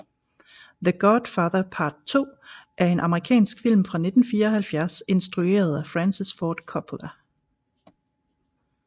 The Godfather Part II er en amerikansk film fra 1974 instrueret af Francis Ford Coppola